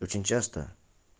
очень часто